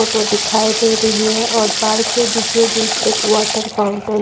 photo दिखाई दे रही है और पार्क के बीचोबीच एक वाटर फाउंटेन --